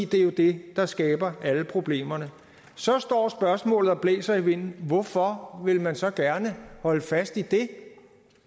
det er det der skaber alle problemerne så står spørgsmålet og blæser vinden hvorfor vil man så gerne holde fast i det